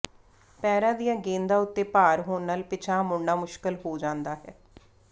ਪੈਰਾਂ ਦੀਆਂ ਗੇਂਦਾਂ ਉੱਤੇ ਭਾਰ ਹੋਣ ਨਾਲ ਪਿਛਾਂਹ ਮੁੜਣਾ ਮੁਸ਼ਕਲ ਹੋ ਜਾਂਦਾ ਹੈ